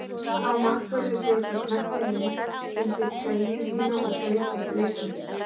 Má markvörður setja knöttinn inn undir treyju sína og hlaupa upp leikvöllinn?